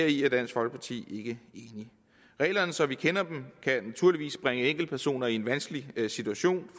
i dansk folkeparti ikke enige reglerne som vi kender dem kan naturligvis bringe enkeltpersoner i en vanskelig situation